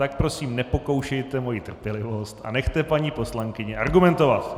Tak prosím nepokoušejte moji trpělivost a nechte paní poslankyni argumentovat.